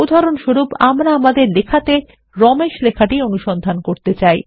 উদাহরণস্বরূপ আমরাআমাদের লেখাতে রমেশলেখাটি অনুসন্ধান করতে চাই